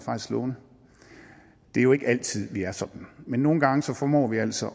slående det er jo ikke altid vi er sådan men nogle gange formår vi altså